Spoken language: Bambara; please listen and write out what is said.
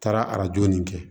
Taara arajo nin kɛ